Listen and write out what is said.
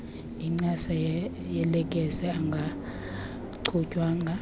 incasa yelekesi engachutywanga